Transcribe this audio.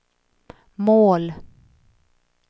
mål